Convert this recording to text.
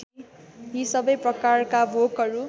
यी सबै प्रकारका भोकहरू